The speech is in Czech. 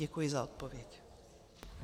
Děkuji za odpověď.